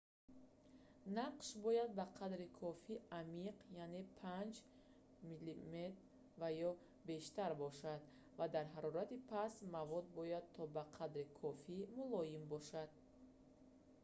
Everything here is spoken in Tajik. нақш бояд ба қадри кофӣ амиқ яъне 5 мм 1/5 дюйм ва ё бештар бошад ва дар ҳарорати паст мавод бояд то ба қадри кофӣ мулоим бошад